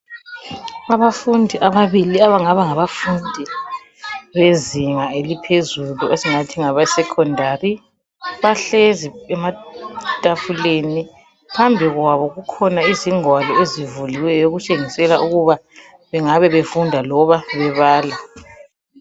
Abafundi ababili abangaba ngabafundi bezinga eliphezulu esingathi ngabesecondari bahlezi ematafuleni, phambi kwabo kukhona izingwalo ezivuliweyo okutshengisela ukuba bengabe befunda loba bebala.